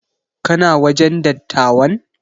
Kana wajen dattawan?